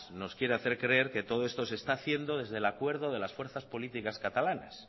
nos quiere hacer creer que todo esto se está haciendo desde el acuerdo de las fuerzas políticas catalanas